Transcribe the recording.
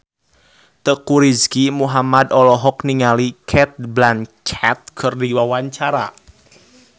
Teuku Rizky Muhammad olohok ningali Cate Blanchett keur diwawancara